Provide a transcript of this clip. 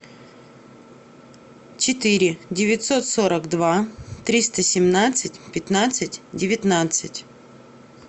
четыре девятьсот сорок два триста семнадцать пятнадцать девятнадцать